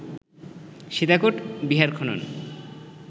সীতাকোট বিহার খনন